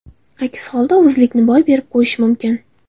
Aks holda, o‘zlikni boy berib qo‘yish mumkin.